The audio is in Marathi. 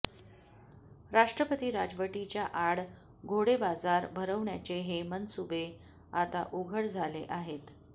राष्ट्रपती राजवटीच्या आड घोडेबाजार भरवण्याचे हे मनसुबे आता उघड झाले आहेत